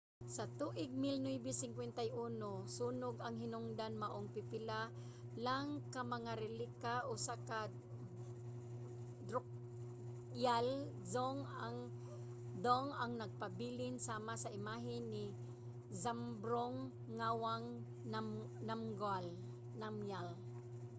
sa tuig 1951 sunog ang hinungdan maong pipila lang ka mga relika sa drukgyal dzong ang nagpabilin sama sa imahe ni zhabdrung ngawang namgyal